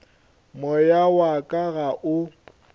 moya wa ka ga o